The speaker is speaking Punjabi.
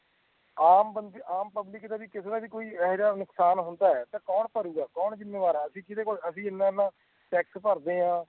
ਆਮ ਪਬਲਿਕ ਕਿਸੇ ਦਾ ਕੋਈ ਇਹੋ ਜਾ ਨੁਕਸਾਨ ਹੁੰਦਾ ਹੈ ਕੌਣ ਪਰੁ ਗਾ ਕੌਣ ਜਿੰਮੇਵਾਰ ਏ ਅਸੀਂ ਕਿਦੇ ਇਨ੍ਹਾਂ ਇਨ੍ਹਾਂ ਟੈਕਸ ਪਾਰਦੇ ਹੈ